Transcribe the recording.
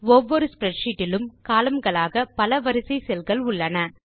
ஒவ்வொரு ஸ்ப்ரெட்ஷீட் இலும் கோலம்ன் களாக பல வரிசை செல்கள் உள்ளன